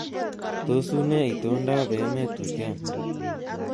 Tos, unee itondoab emet wiken